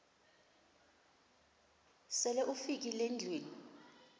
sele ufikile endlwini